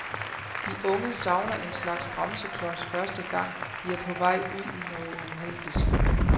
De unge savner en slags bremseklods første gang, de er på vej ud i noget uheldigt.